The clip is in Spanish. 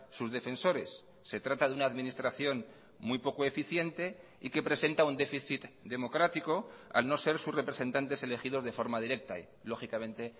sus defensores se trata de una administración muy poco eficiente y que presenta un déficit democrático al no ser sus representantes elegidos de forma directa y lógicamente